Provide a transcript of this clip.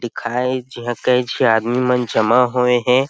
दिखाईस जीहां कई झी आदमी मन जमा होये हे।